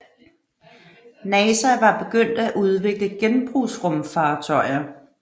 NASA var begyndt at udvikle genbrugsrumfartøjer